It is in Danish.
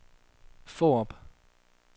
Fårup